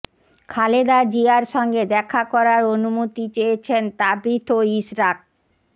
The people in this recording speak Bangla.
খালেদা জিয়ার সঙ্গে দেখা করার অনুমতি চেয়েছেন তাবিথ ও ইশরাক